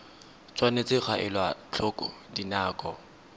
tshwanetse ga elwa tlhoko dinako